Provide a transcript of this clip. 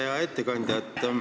Hea ettekandja!